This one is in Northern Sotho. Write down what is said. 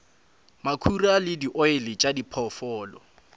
makhura le dioli tša diphoofolo